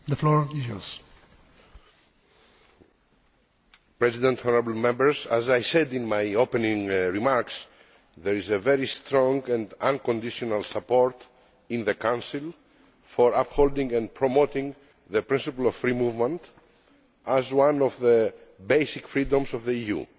Mr President, honourable Members, as I said in my opening remarks, there is very strong and unconditional support in the Council for upholding and promoting the principle of free movement as one of the basic freedoms of the EU.